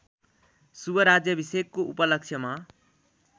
शुभ राज्याभिषेकको उपलक्ष्यमा